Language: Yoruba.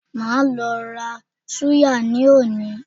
Màá lo ra súyà ní òní